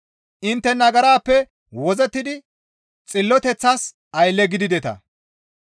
Intte nagarappe wozzettidi xilloteththas aylle gidideta.